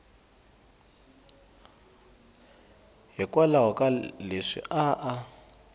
hikwalaho ka leswi a a